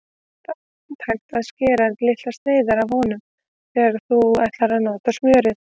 Þá er handhægt að skera litlar sneiðar af honum þegar þú ætlar að nota smjörið.